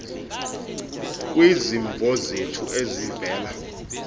kwizimvo zethu ezivela